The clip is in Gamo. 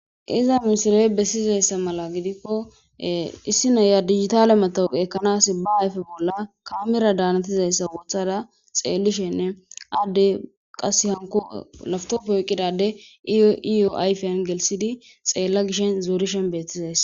"Iza misiley bessizaysa mala giddiko issi na7iya digitale metawekiya ekkanas ba ayfe bolla camera danetizayasa wothada xeelishin, addey qassi laptope oyqqida addey iyyo ayfen gelithidi xeela gishin zorishin beetizayssa."